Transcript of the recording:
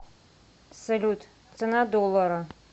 салют цена доллара